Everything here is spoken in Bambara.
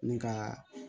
Ni ka